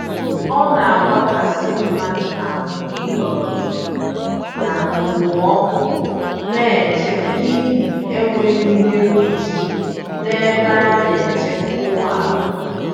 Ọnagbakasị mmadụ ahụ ịnọrọ na okpomọkụ n'eche n'ihi enweghị ihe mkpuchi, n'ebe ana-eche ụgbọala